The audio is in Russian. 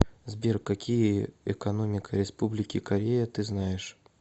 сбер какие экономика республики корея ты знаешь